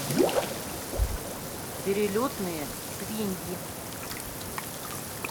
перелетные свиньи